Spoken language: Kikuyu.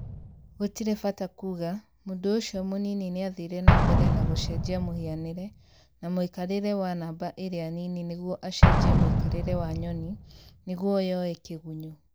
gũtire bata kuuga ,mũndũ ũcio mũnini nĩathire na mbere na gũchenjia mũhianĩre na mũikarĩre wa namba ĩrĩa nini nĩguo achenjie mũikarĩre wa nyoni nĩguo yoe kĩgunyũ